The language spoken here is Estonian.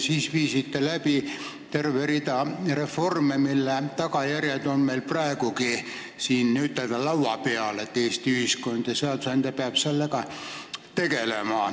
Siis te viisite läbi terve rea reforme, mille tagajärjed on meil praegugi n-ö laua peal, nii et Eesti ühiskond ja seadusandja peavad nendega tegelema.